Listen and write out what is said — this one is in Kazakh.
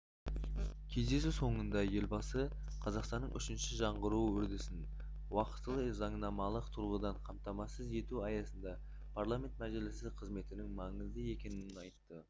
кездесу соңында елбасы қазақстанның үшінші жаңғыруы үрдісін уақтылы заңнамалық тұрғыдан қамтамасыз ету аясында парламент мәжілісі қызметінің маңызды екенін айтты